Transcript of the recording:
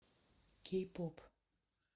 кей поп